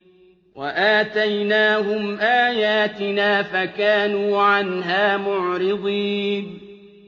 وَآتَيْنَاهُمْ آيَاتِنَا فَكَانُوا عَنْهَا مُعْرِضِينَ